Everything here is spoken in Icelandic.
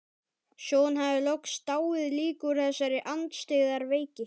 Svo hún hafði loks dáið líka úr þessari andstyggðar veiki.